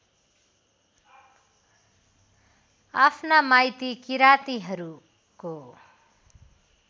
आफ्ना माइती किरातीहरूको